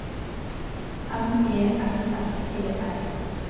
M E S S E R